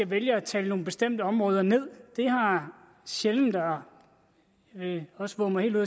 vælge at tale nogle bestemte områder ned det har sjældent jeg vil også vove mig helt ud